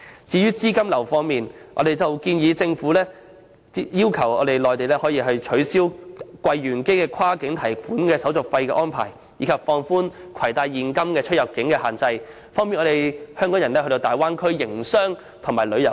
至於資金流方面，我們建議政府要求內地取消櫃員機跨境提款手續費的安排，以及放寬攜帶現金出入境的限額，方便港人前往大灣區營商及旅遊。